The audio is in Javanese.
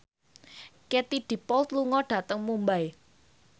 Katie Dippold lunga dhateng Mumbai